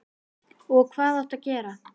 Og hvað áttu að gera?